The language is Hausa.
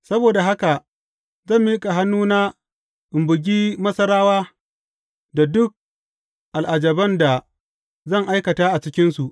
Saboda haka zan miƙa hannuna in bugi Masarawa da duk al’ajaban da zan aikata a cikinsu.